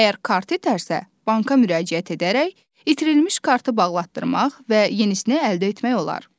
Əgər kart itərsə, banka müraciət edərək itirilmiş kartı bağlatdırmaq və yenisini əldə etmək olar.